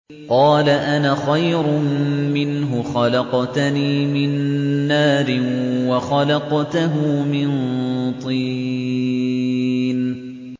قَالَ أَنَا خَيْرٌ مِّنْهُ ۖ خَلَقْتَنِي مِن نَّارٍ وَخَلَقْتَهُ مِن طِينٍ